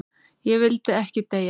Ég vildi ekki deyja.